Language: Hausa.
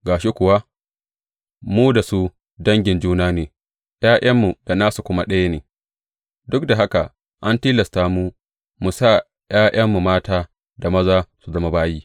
Ga shi kuwa, mu da su dangin juna ne, ’ya’yanmu da nasu kuma ɗaya ne, duk da haka an tilasta mu mu sa ’ya’yanmu mata da maza su zama bayi.